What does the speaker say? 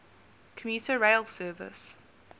commuter rail service